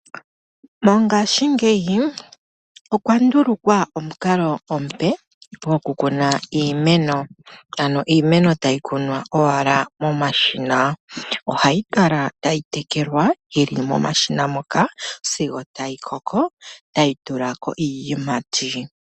Mongashingeyi okwa ndulukwa omukalo omupe goku kuna iimeno ano iimeno tayi kunwa owala momashina. Ohayi kala tayi tekelwa yili momashina moka sigo tayi koko etayi tulako iiyimati.